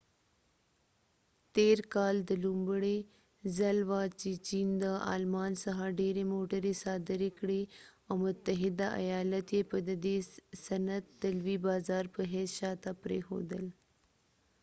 تیر کال دا لومړۍ ځل وه چې چېن د آلمان څخه ډیری موټری صادرې کړي او متحده ایالت یې په ددې صنعت دلوي بازار په حیث شاته پریښودل